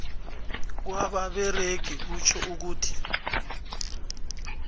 kwabasebenzi kutjho ukuthi